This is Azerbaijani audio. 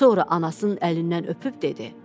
Sonra anasının əlindən öpüb dedi: